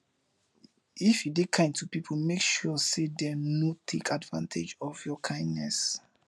if you de kind to pipo make sure say dem no take advantage of your kindness